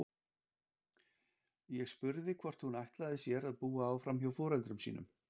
Ég spurði hvort hún ætlaði sér að búa áfram hjá foreldrum sínum.